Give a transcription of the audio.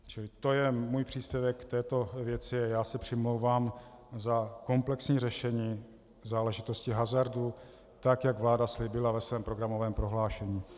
Čili to je můj příspěvek k této věci a já se přimlouvám za komplexní řešení záležitostí hazardu tak, jak vláda slíbila ve svém programovém prohlášení.